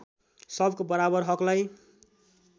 सबको बराबर हकलाई